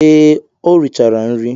Ee, o richara nri.